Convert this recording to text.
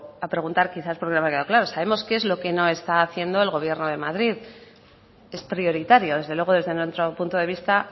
a preguntar quizás porque no me ha quedado claro sabemos qué es lo que no está haciendo el gobierno de madrid es prioritario desde luego desde nuestro punto de vista